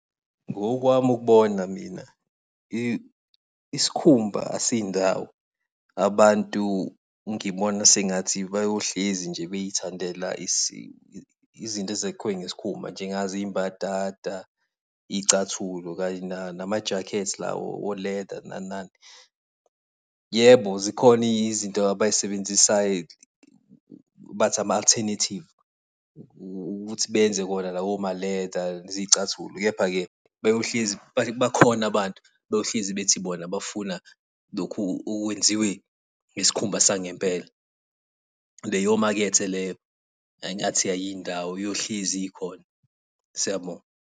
Ngokwami ukubona mina isikhumba asiyindayo. Abantu, ngibona sengathi bayohlezi nje beyithandela izinto ezikhiwe ngesikhumba nje, njengazo iy'mbadada, iy'cathulo kanye namajakhethi o-leather nani nani. Yebo zikhona izinto abayisebenzisayo bathi ama-alternative, ukuthi benze wona lawo ma-leather, zicathulo. Kepha-ke, bayohlezi, bakhona abantu abayohlezi bethi bona bafuna lokhu okwenziwe ngesikhumba sangempela. Leyo makhetha leyo engathi ayiyi ndawo, iyohlezi ikhona. Siyabonga.